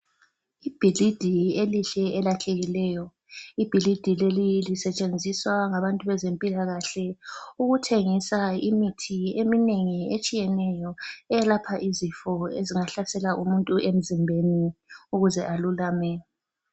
Ibhilidi elihle elakhekileyo , ibhilidi leli lisetshenziswa ngabantu bezempilakahle ukuthengisa imithi eminengi etshiyeneyo eyelapha izifo ezingahlasela umuntu emzimbeni ukuze alulame